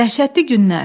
Dəhşətli günlər.